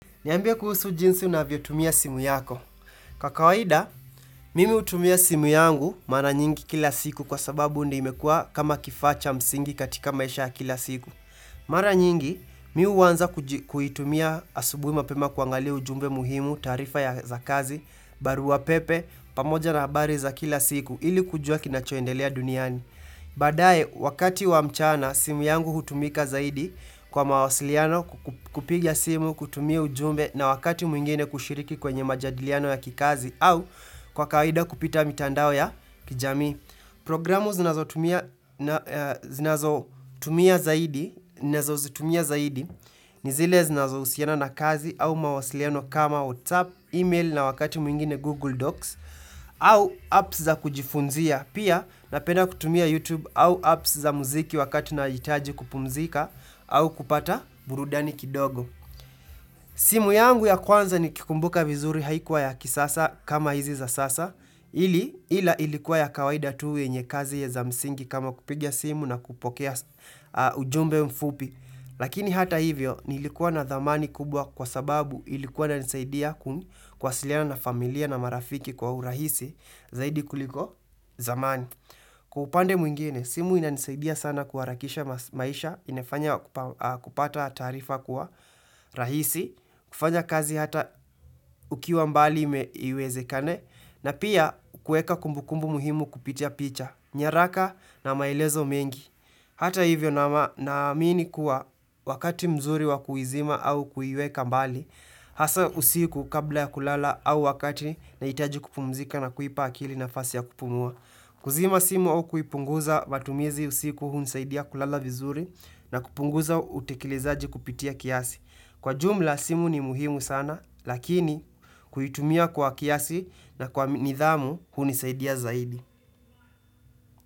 Niambie kuhusu jinsi unavyotumia simu yako. Kwa kawaida, mimi hutumia simu yangu mara nyingi kila siku kwa sababu ndio imekua kama kifaa cha msingi katika maisha ya kila siku. Mara nyingi, mi uanza kuitumia asubuhi mapema kuangalia ujumbe muhimu, taarifa ya za kazi, barua pepe, pamoja na habari za kila siku, ili kujua kinachoendelea duniani. Baadae wakati wa mchana simu yangu hutumika zaidi kwa mawasiliano kupigia simu kutumia ujumbe na wakati mwingine kushiriki kwenye majadiliano ya kikazi au kwa kawaida kupita mitandao ya kijamii. Programu zinazotumia zaidi ni zile zinazohusiana na kazi au mawasiliano kama WhatsApp, email na wakati mwingine Google Docs au apps za kujifunzia, pia napenda kutumia YouTube au apps za muziki wakati nahitaji kupumzika au kupata burudani kidogo simu yangu ya kwanza nikikumbuka vizuri haikuwa ya kisasa kama hizi za sasa ili ila ilikuwa ya kawaida tu yenye kazi ya za msingi kama kupigia simu na kupokea ujumbe mfupi. Lakini hata hivyo, nilikuwa na dhamani kubwa kwa sababu ilikuwa inanisaidia ku kuwasiliana na familia na marafiki kwa urahisi zaidi kuliko zamani. Kwa upande mwingine, simu inanisaidia sana kuharakisha maisha, inafanya kupata taarifa kwa rahisi, kufanya kazi hata ukiwa mbali iwezekane na pia kueka kumbukumbu muhimu kupitia picha nyaraka na maelezo mengi Hata hivyo nama naamini kuwa wakati mzuri wakuizima au kuiweka mbali Hasa usiku kabla ya kulala au wakati nahitaji kupumzika na kuipa akili nafasi ya kupumua kuzima simu au kuipunguza matumizi usiku unisaidia kulala vizuri na kupunguza utekelezaji kupitia kiasi Kwa jumla simu ni muhimu sana, lakini kuitumia kwa kiasi na kwa nidhamu unisaidia zaidi.